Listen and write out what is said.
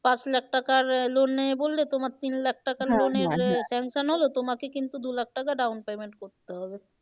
পাঁচ লাখ টাকার loan নেবে বললে তোমার তিন লাখ sanction হলো তোমাকে কিন্তু দু লাখ টাকা down payment করতে হবে।